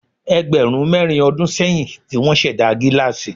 Ẹgbẹ̀rún mẹ́rin ọdún sẹ́yìn ní wọ́n ṣẹ̀dá gílásì.